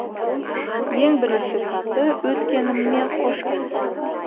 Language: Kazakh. ең бірінші саты өткеніммен қош айтысу